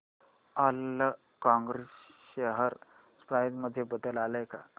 Allcargo share price मध्ये बदल आलाय का